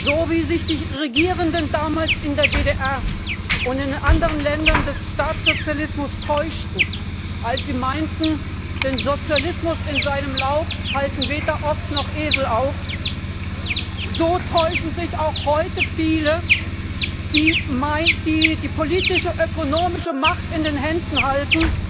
So, wie sich die Regierenden damals in der DDR und in anderen Ländern des Staatssozialismus täuschten, als sie meinten, den Sozialismus in seinem Lauf halten weder Ochs noch Esel auf, so täuschen sich auch heute viele, die die politische, ökonomische Macht in den Händen